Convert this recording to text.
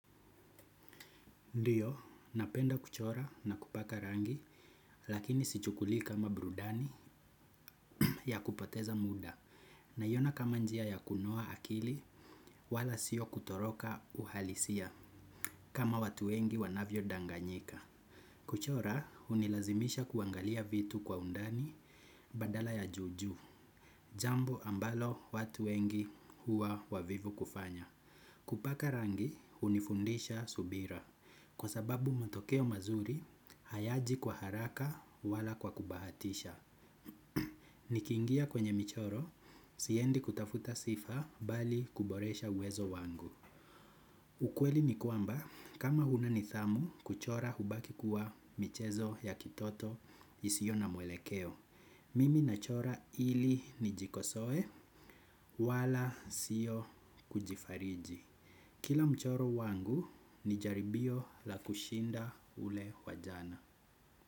Ndiyo, napenda kuchora na kupaka rangi, lakini sichukulii kama burudani ya kupoteza muda, naiona kama njia ya kunoa akili wala sio kutoroka uhalisia kama watu wengi wanavyodanganyika. Kuchora, hunilazimisha kuangalia vitu kwa undani badala ya juu juu, jambo ambalo watu wengi huwa wavivu kufanya. Kupaka rangi, unifundisha subira. Kwa sababu matokeo mazuri, hayaji kwa haraka wala kwa kubahatisha. Nikiingia kwenye michoro, siendi kutafuta sifa bali kuboresha uwezo wangu. Ukweli ni kwamba, kama huna nidhamu kuchora hubaki kuwa michezo ya kitoto isiyo na mwelekeo. Mimi nachora ili nijikosoe wala siyo kujifariji. Kila mchoro wangu ni jaribio la kushinda ule wa jana.